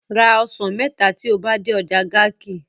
Ra osan mẹta ti o ba de ọja Garki